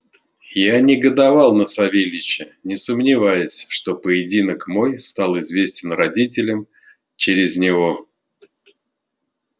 я негодовал на савельича не сомневаясь что поединок мой стал известен родителям через него